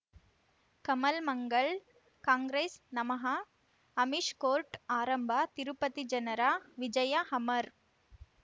ಕಮಲ್ ಮಂಗಳ್ ಕಾಂಗ್ರೆಸ್ ನಮಃ ಅಮಿಷ್ ಕೋರ್ಟ್ ಆರಂಭ ತಿರುಪತಿ ಜನರ ವಿಜಯ ಅಮರ್